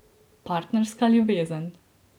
Partnerska ljubezen.